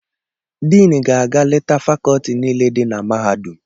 Diin ga-aga leta fakọọti niile dị na mahadum.